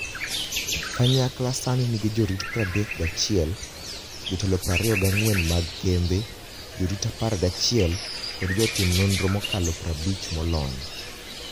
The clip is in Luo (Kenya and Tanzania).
Kanyakla sani nigi jorit 31, jotelo 24 mag kembe, jorit 11, kod jotim nonro mokalo 50 molony.